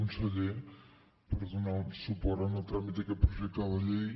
conseller per donar suport en el tràmit d’aquest projecte de llei